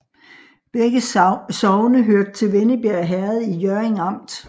Begge sogne hørte til Vennebjerg Herred i Hjørring Amt